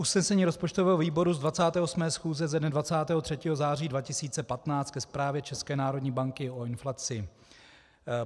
Usnesení rozpočtového výboru z 28. schůze ze dne 23. září 2015 ke Zprávě České národní banky o inflaci.